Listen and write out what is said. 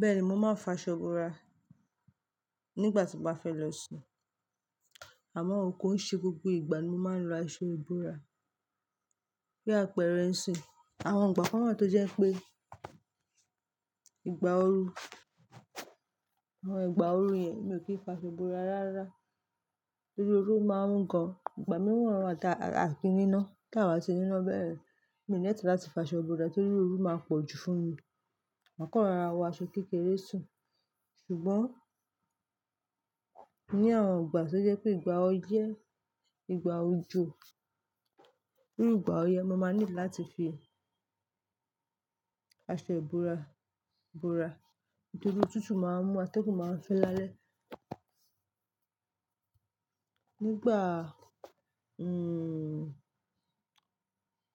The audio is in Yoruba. Bẹ́ẹ̀ni, mo máa ń fa aṣọ borà nígbà tí mo bá fẹ́ lọ sùn àmọ́ ó kò ń ṣe gbogbo ìgbà ní mo máa ń lo aṣọ iborà. Bí àpẹẹrẹ ń sìn, àwọn ìgbà kan wa tó jẹ́ pé ìgbà ooru, àwọn ìgbà ooru yẹn mi ò kí ń fa aṣọ borà rárá. Torí ooru máa ń mu gan, ìgbà mìíràn wà tí a kí ń níná tí à ba ti níná bẹ́yẹ́n, mi ò nílò láti fa aṣọ borà torí ooru máa pọ̀ jù fún mi. Maa kan rọ́ra wọ aṣọ kékeré sùn ṣùgbọ́n ní àwọn ìgbà tó jẹ́ pé ìgbà ọyẹ́, ìgbà òjò, irú ìgbà òyẹ́ mo máa nílò láti fi aṣọ borà, borà. Nítorí òtútù máa ń mú atẹ́gùn máa ń fẹ́ lálẹ́. Nígbà, hmm,